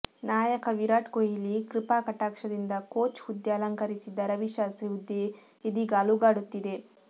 ನಾಯಕ ವಿರಾಟ್ ಕೊಹ್ಲಿ ಕೃಪಾಕಟಾಕ್ಷದಿಂದ ಕೋಚ್ ಹುದ್ದೆ ಅಲಂಕರಿಸಿದ್ದ ರವಿಶಾಸ್ತ್ರಿ ಹುದ್ದೆ ಇದೀಗ ಅಲುಗಾಡುತ್ತಿದೆ